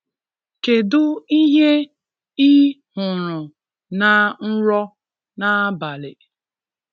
Kedụ ihe i hụrụ na nrọ n'abalị?